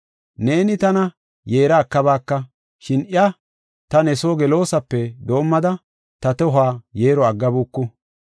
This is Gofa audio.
Neeni tana yeera ekabaaka, shin iya ta ne soo gelosape doomada ta tohuwa yeero aggabuku.